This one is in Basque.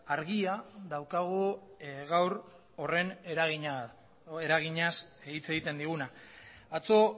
argia daukagu gaur horren eraginaz hitz egiten diguna atzo